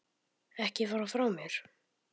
Ekki fara frá mér!